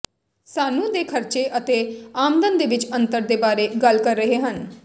ਸਾਨੂੰ ਦੇ ਖਰਚੇ ਅਤੇ ਆਮਦਨ ਦੇ ਵਿੱਚ ਅੰਤਰ ਦੇ ਬਾਰੇ ਗੱਲ ਕਰ ਰਹੇ ਹਨ